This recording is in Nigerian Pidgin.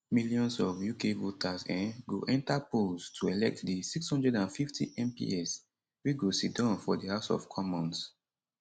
millions of uk voters um go enta polls to elect di 650 mps wey go siddon for di house of commons